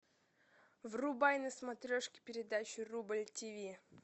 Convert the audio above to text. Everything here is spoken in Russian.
врубай на смотрешке передачу рубль тв